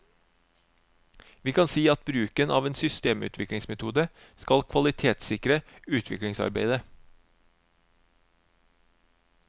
Vi kan si at bruken av en systemutviklingsmetode skal kvalitetssikre utviklingsarbeidet.